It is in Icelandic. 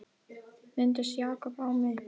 Minntist Jakob á mig?